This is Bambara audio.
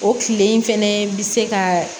O tile in fɛnɛ bi se ka